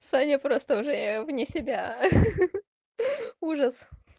саня просто уже я вне себя ха ха ха ужас